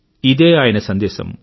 ఇదే ఆయన సందేశం